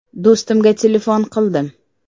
Do‘stimga telefon qildim.